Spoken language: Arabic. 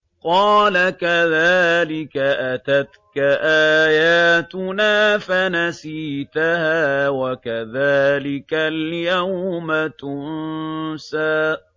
قَالَ كَذَٰلِكَ أَتَتْكَ آيَاتُنَا فَنَسِيتَهَا ۖ وَكَذَٰلِكَ الْيَوْمَ تُنسَىٰ